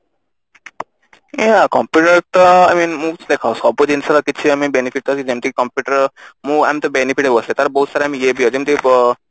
ଏ computer ତ I mean ମୁଁ କହୁଛି ଦେଖ ସବୁ ଜିନିଷ ର benefit ଯେମତି କି computer ମୁଁ ଆମେ ତ benefit ଅବଶ୍ୟ ତାର ତ ବହୁତ ସାରା ଯେମତି ଇଏ ଦିଏ ଯେମତି ବ